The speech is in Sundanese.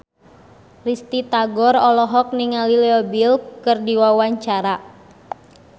Risty Tagor olohok ningali Leo Bill keur diwawancara